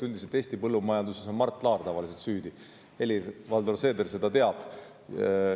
Üldiselt Eesti põllumajanduses on tavaliselt süüdi Mart Laar, Helir-Valdor Seeder teab seda. .